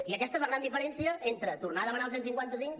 i aquesta és la gran diferència entre tornar a demanar el cent i cinquanta cinc